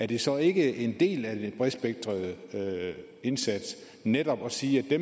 det så ikke en del af den bredspektrede indsats netop at sige at